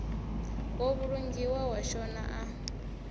wo vhulungiwa wa shona a